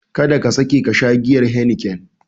Kada ka sake kasha giyar Heniken!